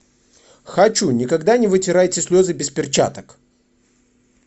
хочу никогда не вытирайте слезы без перчаток